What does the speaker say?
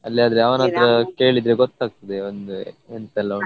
ಅಲ್ಲಿಯಾದ್ರೆ ಅವನತ್ರ ಕೇಳಿದ್ರೆ ಗೊತ್ತ್ ಆಗ್ತದೆ ಒಂದು ಎಂತೆಲ್ಲ.